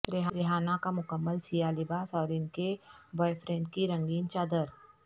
ریحانہ کا مکمل سیاہ لباس اور ان کے بوائے فرینڈ کی رنگین چادر